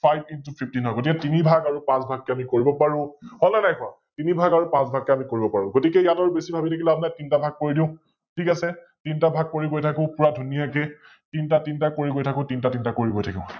FiveIntoFIfteen হয়, গতিকে তিনি ভাগ আৰু পাচ ভাগ কৈ আমি কৰিব পাৰো, হল নে নাই কোৱা? তিনি ভাগ আৰু পাচ ভাগ কৈ আমি কৰিব পাৰো । গতিকে ইয়াত আৰু বেছি ভাবি থাকি লাভ নাই, তিনটা ভাগ কৰি দিও, ঠিক আছে । তিনটা ভাগ কৰি গৈ থাকো পোৰা ধুনীয়াকৈ তিনটা তিনটা কৰি গৈ থাকো তিনটা তিনটা কৰি গৈ থাকো